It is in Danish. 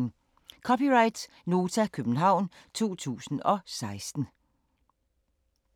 (c) Nota, København 2016